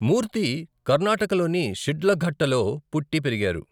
మూర్తి, కర్ణాటకలోని శిడ్లఘట్టలో పుట్టి పెరిగారు.